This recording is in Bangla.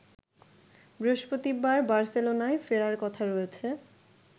বৃহস্পতিবার বার্সেলোনায় ফেরার কথা রয়েছে